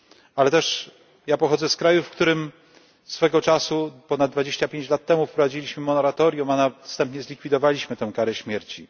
Ale też ja pochodzę z kraju, w którym swego czasu ponad dwadzieścia pięć lat temu wprowadziliśmy moratorium, a następnie zlikwidowaliśmy tę karę śmierci.